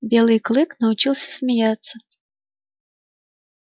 белый клык научился смеяться